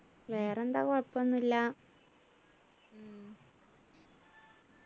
വേറെന്താ കുഴപ്പൊന്നും ഇല്ല